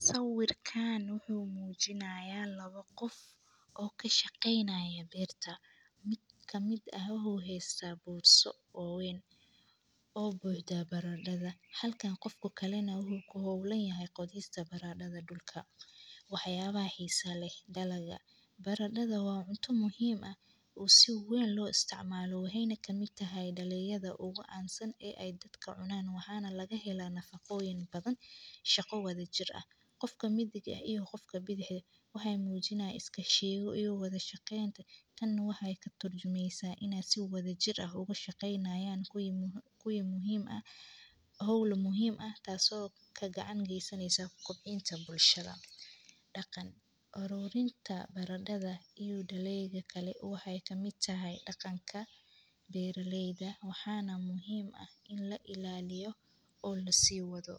Sawirkan wuxuu mujinayaa lawa qof oo kadhaqeynaya beerta mid kamiid ah wuxuu hasta meel weyn oo baradadha kamiid ah halka qofka kalana u ku holan yahay qodista baradadha dulka dalaga waxyala weyn oo la isticmalo waye waxena kamiid tahay dalagyada ogu can santahay ee ay dadka cunan waxana laga hela nafaqoyin badan shaqo wadha jir ah qofka midiga eh iyo qofka bidixa eh waxee iska la wadhagi hayan shaqo muhiim ah tan waxee katurjumeysa in aa si wadha jir ah oga shaqeynayan hol muhiim ah daqan ururinta daleyda kale waxee kamiid tahay daqanka bera leyda waxana muhiim ah in lailaliyo oo lasi wadho.